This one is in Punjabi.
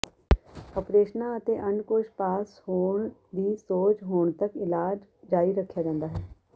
ਉਪਰੇਸ਼ਨਾਂ ਅਤੇ ਅੰਡਕੋਸ਼ ਪਾਸ ਹੋਣ ਦੀ ਸੋਜ ਹੋਣ ਤਕ ਇਲਾਜ ਜਾਰੀ ਰੱਖਿਆ ਜਾਂਦਾ ਹੈ